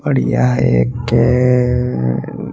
और यहा एक --